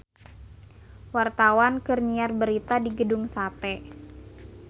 Wartawan keur nyiar berita di Gedung Sate